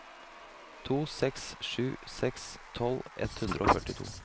to seks sju seks tolv ett hundre og førtito